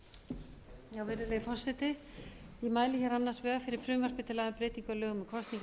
virðulegi forseti ég mæli hér annars vegar fyrir frumvarpi til laga um breytingu á lögum um kosningar til